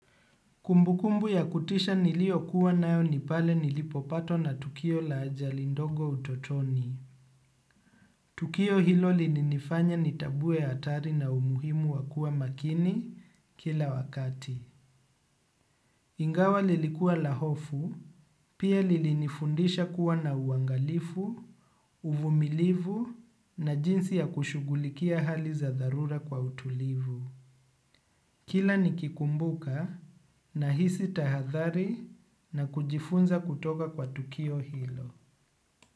Kumbukumbu ya kutisha niliyokuwa nayo ni pale nilipopatwa na tukio la ajali ndogo utotoni. Tukio hilo lilininifanya nitambue hatari na umuhimu wa kuwa makini kila wakati. Ingawa lilikua la hofu, pia lilinifundisha kuwa na uangalifu, uvumilivu na jinsi ya kushughulikia hali za dharura kwa utulivu. Kila nikikumbuka nahisi tahadhari na kujifunza kutoka kwa tukio hilo.